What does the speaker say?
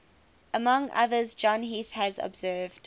among others john heath has observed